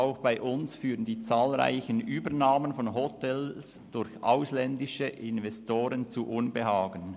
Auch bei uns führen die zahlreichen Übernahmen von Hotels durch ausländische Investoren zu Unbehagen.